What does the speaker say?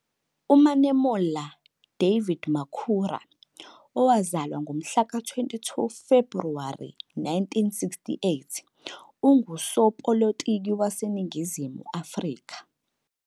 UManemolla David Makhura, owazalwa ngomhlaka 22 kuFebhuwari 1968, ungusopolitiki waseNingizimu Afrika.